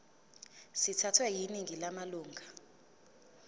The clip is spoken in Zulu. sithathwe yiningi lamalunga